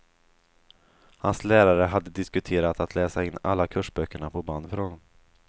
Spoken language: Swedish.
Hans lärare hade diskuterat att läsa in alla kursböckerna på band för honom.